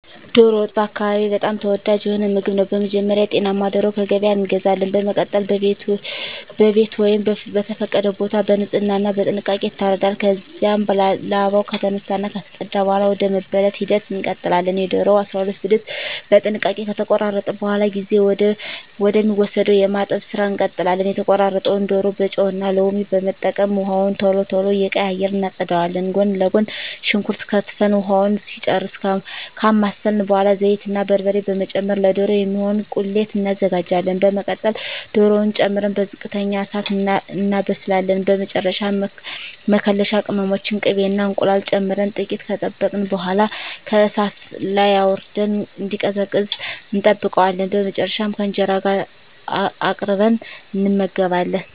ዶሮ ወጥ በአካባቢየ በጣም ተወዳጅ የሆነ ምግብ ነው። በመጀመሪያ ጤናማ ዶሮ ከገበያ እንገዛለን። በመቀጠል በቤት ወይም በተፈቀደ ቦታ በንጽህና እና በጥንቃቄ ይታረዳል። ከዚያም ላባው ከተነሳ እና ከተፀዳ በኃላ ወደ መበለት ሂደት እንቀጥላለን። የዶሮውን 12 ብልት በጥንቃቄ ከተቆራረጠ በኃላ ጊዜ ወደ ሚወስደው የማጠብ ስራ እንቀጥላለን። የተቆራረጠውን ዶሮ በጨው እና ሎሚ በመጠቀም ውሃውን ቶሎ ቶሎ እየቀያየርን እናፀዳዋለን። ጎን ለጎን ሽንኩርት ከትፈን ውሃውን እስኪጨርስ ካማሰልን በኃላ ዘይት እና በርበሬ በመጨመር ለዶሮ የሚሆን ቁሌት እናዘጋጃለን። በመቀጠል ዶሮውን ጨምረን በዝቅተኛ እሳት እናበስላለን። በመጨረሻ መከለሻ ቅመሞችን፣ ቅቤ እና እንቁላል ጨምረን ጥቂት ከጠበቅን በኃላ ከእሳት ላይ አውርደን እንዲቀዘቅዝ እንጠብቀዋለን። በመጨረሻም ከእንጀራ ጋር አቅርበን እንመገባለን።